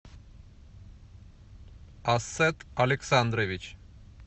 ассет александрович